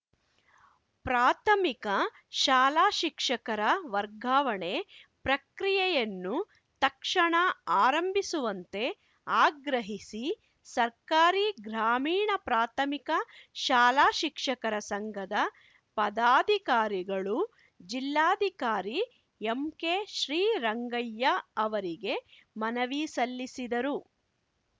ಪ್ರಾಥಮಿಕ ಶಾಲಾ ಶಿಕ್ಷಕರ ವರ್ಗಾವಣೆ ಪ್ರಕ್ರಿಯೆಯನ್ನು ತಕ್ಷಣ ಆರಂಭಿಸುವಂತೆ ಆಗ್ರಹಿಸಿ ಸರ್ಕಾರಿ ಗ್ರಾಮೀಣ ಪ್ರಾಥಮಿಕ ಶಾಲಾ ಶಿಕ್ಷಕರ ಸಂಘದ ಪದಾಧಿಕಾರಿಗಳು ಜಿಲ್ಲಾಧಿಕಾರಿ ಎಂಕೆ ಶ್ರೀರಂಗಯ್ಯ ಅವರಿಗೆ ಮನವಿ ಸಲ್ಲಿಸಿದರು